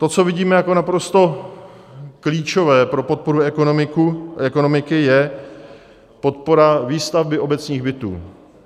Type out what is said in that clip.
To, co vidíme jako naprosto klíčové pro podporu ekonomiky, je podpora výstavby obecních bytů.